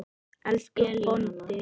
Elsku Böddi.